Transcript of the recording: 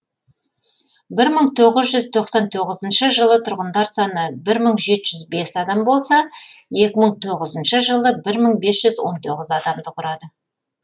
бір мың тоғыз жүз тоқсан тоғызыншы жылы тұрғындар саны бір мың жеті жүз бес адам болса екі мың тоғызыншы жылы бір мың бес жүз он тоғыз адамды құрады